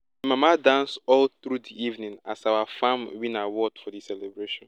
my mama dance all through di evening as our farm win award for di celebration